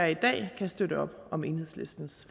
i dag kan støtte op om enhedslistens